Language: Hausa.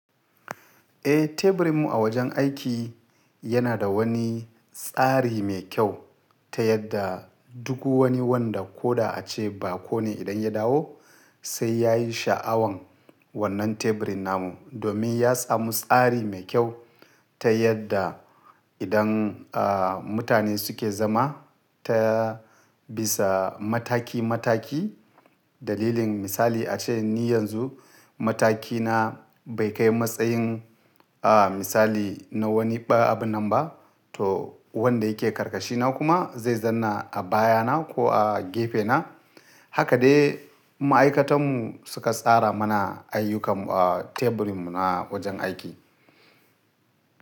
Eh, teburin mu a wajen aiki yana da wani tsari mai kyau ta yadda duk wani wanda ko da a ce bako ne idan ya dawo sai ya yi sha'awan wannan teburin namu. Domin ya samu tsari mai kyau ta yadda idan mutane suke zama ta bisa mataki mataki. Dalilin misali a ce ni yanzu mataki na bai kai matsayin misali na wani abu nan ba, to wanda yake karkashi na kuma zai zanna a baya na ko a gefe na. Haka dai ma'aikatan mu suka tsara mana ayyukan, ah, teburin mu na wajen aiki.